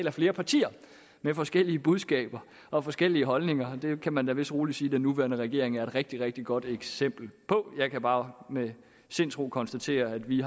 af flere partier med forskellige budskaber og forskellige holdninger det kan man da vidst roligt sige at den nuværende regering er et rigtig rigtig godt eksempel på jeg kan bare med sindsro konstatere at vi